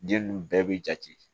Den nunnu bɛɛ bi jate